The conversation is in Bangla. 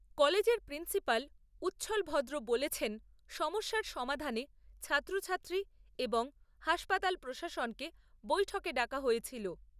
কলেজের প্রিন্সিপাল উচ্ছ্বল ভদ্র বলেছেন সমস্যার সমাধানে ছাত্রছাত্রী এবং হাসপাতাল প্রশাসনকে বৈঠকে ডাকা হয়েছিল।